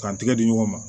K'an tɛgɛ di ɲɔgɔn ma